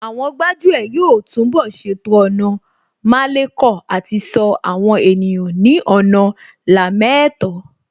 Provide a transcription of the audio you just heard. Àwọn gbájú ẹ̀ yóò túnbọ̀ ṣètò ọ̀nà málekọ̀ àti ṣọ́ àwọn ènìyàn ní ọ̀nà lámẹ́ẹ̀tọ́